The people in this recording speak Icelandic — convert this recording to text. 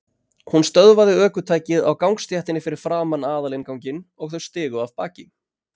Hún stöðvaði ökutækið á gangstéttinni fyrir framan aðalinnganginn og þau stigu af baki.